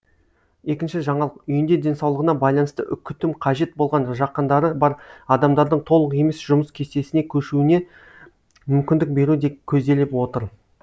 екінші жаңалық үйінде денсаулығына байланысты күтім қажет болған жақындары бар адамдардың толық емес жұмыс кестесіне көшуіне мүмкіндік беру де көзделіп отыр